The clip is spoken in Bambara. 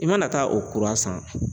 I mana taa o kura san.